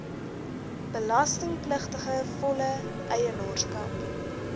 belastingpligtige volle eienaarskap